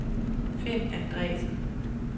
Finn Andresen